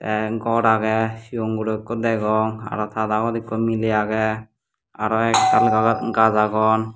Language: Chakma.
en gor agey cigon guro ikko degong aro ta dagot ikko miley agey te aro ektal gajch agon.